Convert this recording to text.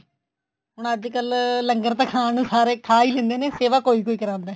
ਹੁਣ ਅੱਜਕਲ ਲੰਗਰ ਤਾਂ ਖਾਣ ਸਾਰੇ ਖਾ ਹੀ ਲੈਂਦੇ ਨੇ ਸੇਵਾ ਕੋਈ ਕੋਈ ਕਰਾਂਦਾ